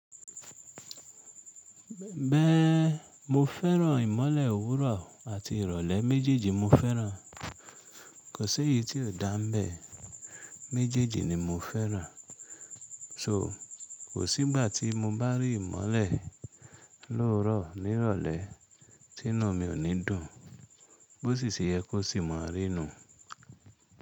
Bẹ́ẹ̀, mo fẹ́ràn ìmọ́lẹ̀ òwúrọ̀ àti ìrọ̀lẹ́ méjèèjì mo fẹ́ràn. Kò sẹ́yi tí ò dáńbẹ̀, méjèèjì ni mo fẹ́ràn. So kò sígbà tí mo bá rí ìmọ́lẹ̀ lóòorọ̀ ní ìrọ̀lẹ́ tí ninú mi ò ní dùn, bó sì ṣe yẹ kó sì mọ̀ rí nu.